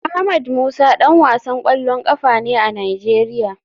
Ahmed musa dan wasan kwallon kafa ne a nigeria.